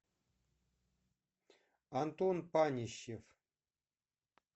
антон панищев